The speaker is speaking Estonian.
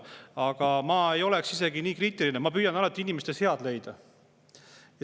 Aga ma isegi ei oleks nii kriitiline, ma püüan alati inimestes head leida.